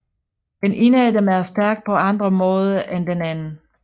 Den ene af dem er stærk på andre måde end den anden